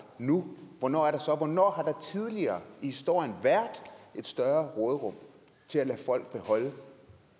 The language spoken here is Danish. nu hvornår er der så hvornår har der tidligere i historien været et større råderum til at lade folk beholde